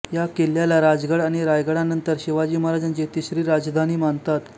या किल्ल्याला राजगड आणि रायगडनंतर शिवाजी महाराजांची तिसरी राजधानी मानतात